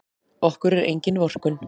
Okkur er engin vorkunn.